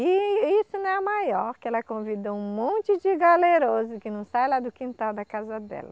E isso não é a maior, que ela convidou um monte de galeroso que não sai lá do quintal da casa dela.